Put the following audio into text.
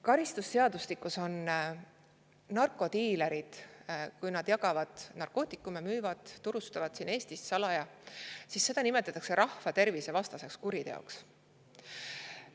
Karistusseadustikus nimetatakse seda, kui narkodiilerid narkootikume jagavad või müüvad, neid Eestis salaja turustavad, rahvatervisevastaseks kuriteoks.